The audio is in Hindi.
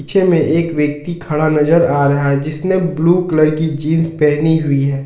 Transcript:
पीछे में एक व्यक्ति खड़ा नजर आ रहा है जिसने ब्लू कलर की जींस पहनी हुई है।